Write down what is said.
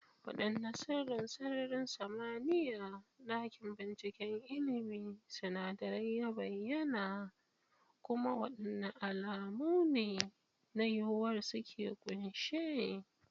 Wadanne sirrin sararin samaniya dakin binciken ilmin sinadarai ya bayyana, kuma wadanne alamu ne na yiwuwar su ke kunshe?